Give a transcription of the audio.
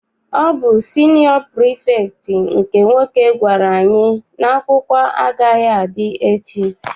Ọ bụ siniọ pirifektị nke nwoke gwara anyị n'akwụkwọ agaghị adị echi.